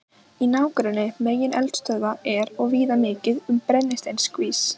Í nágrenni megineldstöðva er og víða mikið um brennisteinskís.